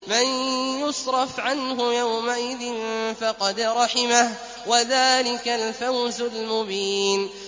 مَّن يُصْرَفْ عَنْهُ يَوْمَئِذٍ فَقَدْ رَحِمَهُ ۚ وَذَٰلِكَ الْفَوْزُ الْمُبِينُ